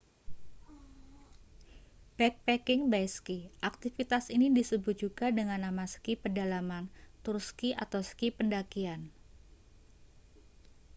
backpacking by ski aktivitas ini disebut juga dengan nama ski pedalaman tur ski atau ski pendakian